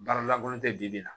Baara lankolon tɛ bibi la